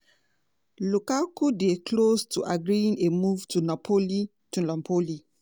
lukaku dey close to agreeing a move to napoli to napoli